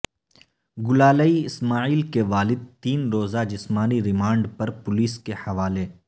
گلالئی اسماعیل کے والد تین روزہ جسمانی ریمانڈ پر پولیس کے حوالے